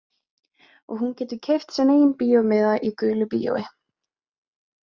Og hún getur keypt sinn eigin bíómiða í gulu bíói.